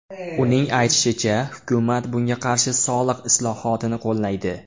Uning aytishicha, hukumat bunga qarshi soliq islohotini qo‘llaydi.